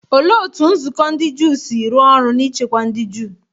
Olee otú ụlọ nzukọ ndị Juu si rụọ ọrụ n’ichekwa ndị Juu?